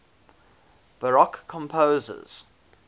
baroque composers